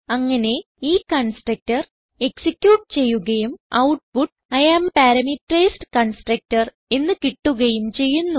അങ്ങനെ ഈ constructor execute ചെയ്യുകയും output I am parameterised constructor എന്ന് കിട്ടുകയും ചെയ്യുന്നു